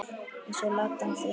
Eins og Ladan þín.